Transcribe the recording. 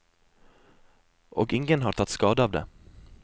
Og ingen har tatt skade av det.